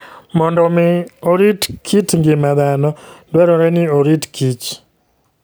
Mondo omi orit kit ngima dhano, dwarore ni orit kich.